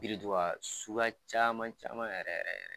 Biriduga suguya caman caman yɛrɛ yɛrɛ.